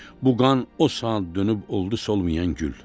Bu qan o saat dönüb oldu solmayan gül.